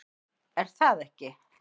Er það ekki?